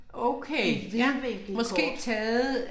Et vidvinklet kort